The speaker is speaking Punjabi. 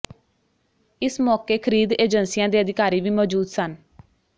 ਇਸ ਮੌਕੇ ਖਰੀਦ ਏਜੰਸੀਆਂ ਦੇ ਅਧਿਕਾਰੀ ਵੀ ਮੌਜੂਦ ਸਨ